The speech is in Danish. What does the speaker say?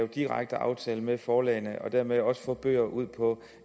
direkte aftaler med forlagene og dermed også få bøger ud på